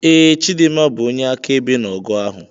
.Ee, chidimma bụ onye akaebe na ọgụ ahụ.